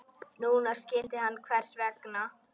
Núna skildi hann hvers vegna.